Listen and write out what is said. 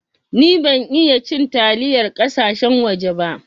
Ni ban iya cin taliyar kasashen waje ba.